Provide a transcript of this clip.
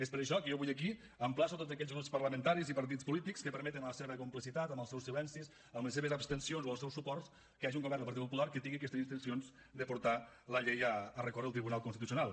és per això que jo avui aquí emplaço tots aquells grups parlamentaris i partits polítics que permeten amb la seva complicitat amb seus silencis amb les seves abstencions o els seus suports que hi hagi un govern del partit popular que tingui aquestes intencions de portar la llei a recórrer al tribunal constitucional